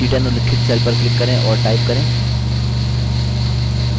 c10 उल्लिखित cell पर click करें और type करें